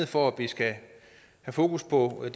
for at vi skal have fokus på at